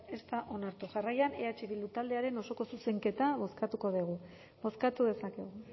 ez da onartu jarraian eh bildu taldearen osoko zuzenketa bozkatuko dugu bozkatu dezakegu